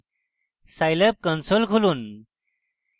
scilab console খুলুন